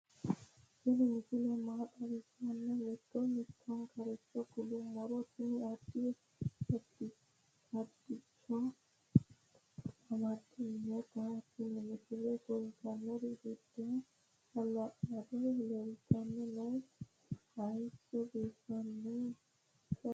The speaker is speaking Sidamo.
tini misile maa xawissannoro mito mittonkaricho kulummoro tini addi addicoy amaddinote tini misileno kultannori doogo hala'lado leeltanni nooe hayso biiffinotino no